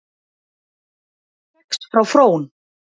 Kex frá Frón